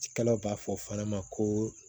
Cikɛlaw b'a fɔ fana ma ko